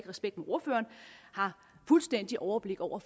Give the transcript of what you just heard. respekt ordføreren har fuldstændig overblik over